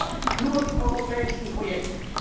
Er schadet nur dem europäischen Projekt.